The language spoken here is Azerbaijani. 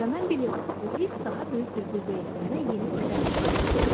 Və mən bilirdim, bu hiss daha böyük bir qüvvə ilə mənə yeni ödənişlər cəzb edir.